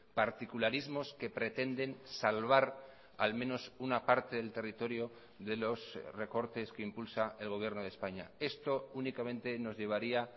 particularismos que pretenden salvar al menos una parte del territorio de los recortes que impulsa el gobierno de españa esto únicamente nos llevaría